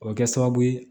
O bɛ kɛ sababu ye